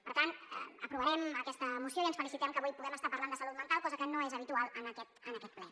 per tant aprovarem aquesta moció i ens felicitem que avui puguem estar parlant de salut mental cosa que no és habitual en aquest ple